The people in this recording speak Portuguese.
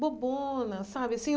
Bobona, sabe assim?